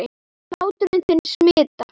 Hlátur þinn smitar.